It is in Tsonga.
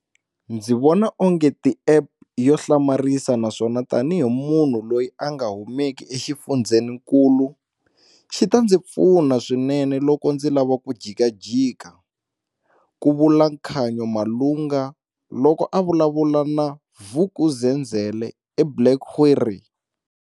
Ndzi vona ongeti i App yo hlamarisa naswona tani hi munhu loyi a nga humeki exifundzeninkulu, xi ta ndzi pfuna swinene loko ndzi lava ku jikajika, ku vula Khanyo Malunga, loko a vulavula na Vuk'uzenzele eBlairgowrie.